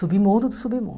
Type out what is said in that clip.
Submundo do submundo.